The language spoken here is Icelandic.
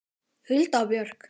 Hulda Björk.